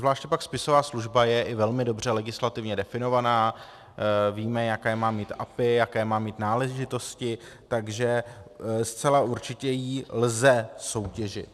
Zvláště pak spisová služba je i velmi dobře legislativně definovaná, víme, jaké má mít API, jaké má mít náležitosti, takže zcela určitě ji lze soutěžit.